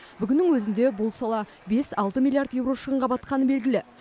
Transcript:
бүгіннің өзінде бұл сала бес алты миллиард еуро шығынға батқаны белгілі